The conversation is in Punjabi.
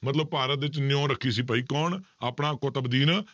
ਮਤਲਬ ਭਾਰਤ ਵਿੱਚ ਨਿਓਂ ਰੱਖੀ ਸੀ ਭਾਈ ਕੌਣ ਆਪਣਾ ਕੁਤਬਦੀਨ,